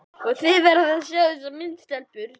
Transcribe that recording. Þið verðið að sjá þessa mynd, stelpur!